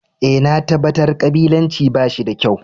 Eh, na tabatar kabilanci ba shi da kyau.